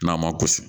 N'a ma kusi